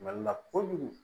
Mali la kojugu